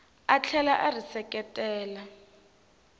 a tlhela a ri seketela